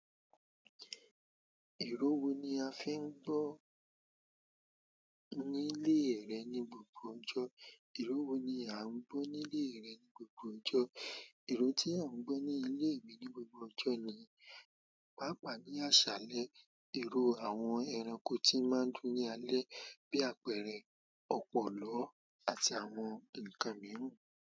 Ìru wo ni a fi ń gbọ́ ní ilé rẹ ní gbogbo ọjọ́? Ìró wo ni a ń gbọ́ ní ilé rẹ ní gbogbo ọjọ́? Ìró tí a ń gbọ́ ní ilé mi ní gbogbo ọjọ́ ni, pàápàá ní àsàlẹ́, ìró àwọn ẹranko tí máa ń dún ní alẹ́, bí àpẹẹrẹ, ọ̀pọ̀lọ́ àti àwọn ǹkan mìíràn.